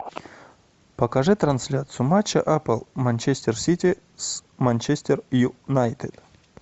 покажи трансляцию матча апл манчестер сити с манчестер юнайтед